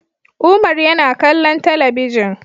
Umar yana kallon talabijin